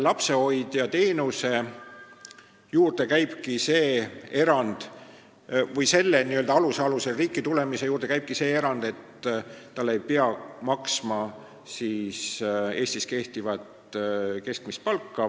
Lapsehoiuteenuse puhul on tehtud see erand, et meie riigis elamise ajal ei pea talle maksma Eestis kehtivat keskmist palka.